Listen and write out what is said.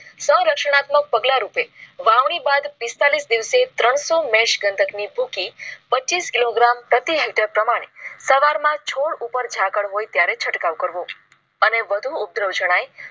સ રચનાત્મક પગલાં રૂપે વાવણી બાદ પિસ્તાલીસ દિવસે ત્રણસો મેચ ગંધક ની ભૂકી પચીસ કિલો gram પ્રતિ હેક્ટર પ્રમાણે સવાર માં છોટુ પર ઝાકળ હોય ત્યારે છંટકાવ કરવો. અને વધુ ઉપધરાવ જણાય